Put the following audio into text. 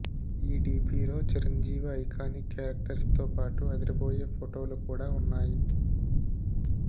ఈ డీపీలో చిరంజీవి ఐకానిక్ కారెక్టర్స్తో పాటు అదిరిపోయే ఫోటోలు కూడా ఉన్నాయి